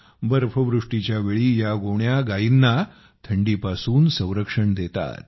बर्फवृष्टीच्या वेळी या गोण्या गायींना थंडीपासून संरक्षण देतात